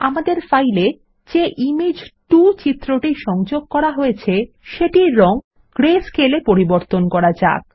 আমাদের ফাইলে যে ইমেজ 2 ফাইলটি সংযোগ করা হয়েছে সেটির রঙ grayscale এ পরিবর্তন করা যাক